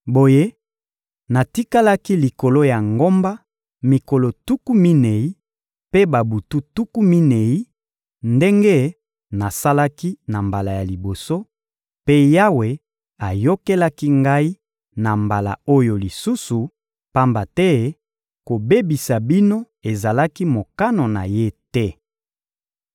Boye natikalaki likolo ya ngomba mikolo tuku minei mpe babutu tuku minei ndenge nasalaki na mbala ya liboso, mpe Yawe ayokelaki ngai na mbala oyo lisusu, pamba te kobebisa bino ezalaki mokano na Ye te.